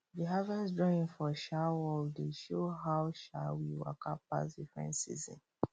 the harvest drawing for um wall dey show how um we waka pass different season